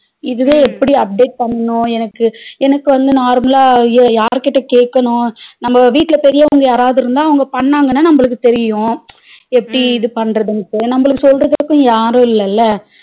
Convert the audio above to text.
இதுவே எப்படி update பண்ணனும்னு எனக்கு எனக்கு வந்து normal லா ஐயோ யார்கிட்ட கேட்கணும் நம்ம வீட்ல பெரியவங்க யாராவது இருந்தா அவங்க பண்ணாங்கன்னா நம்மளுக்கு தெரியும் எப்படி இது பண்றதுன்னு நமக்கு சொல்றதுக்கு யாரும் இல்லல